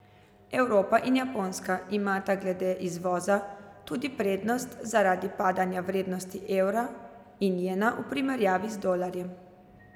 Evropa in Japonska imata glede izvoza tudi prednost zaradi padanja vrednosti evra in jena v primerjavi z dolarjem.